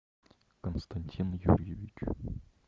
константин юрьевич